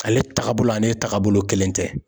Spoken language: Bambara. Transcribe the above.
Ale tagabolo ani taagabolo, kelen tɛ.